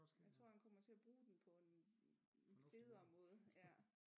Jeg tror han kommer til at bruge den på en federe måde